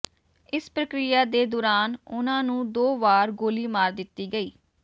ਇਸ ਪ੍ਰਕਿਰਿਆ ਦੇ ਦੌਰਾਨ ਉਨ੍ਹਾਂ ਨੂੰ ਦੋ ਵਾਰ ਗੋਲੀ ਮਾਰ ਦਿੱਤੀ ਗਈ